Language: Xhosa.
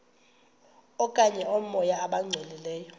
okanye oomoya abangcolileyo